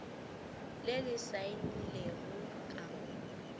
le le saenilego ka mo